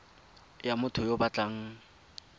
ya motho yo o batlang